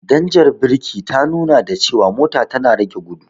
Danjar birki ta nuna da cewa mota tana rage gudu.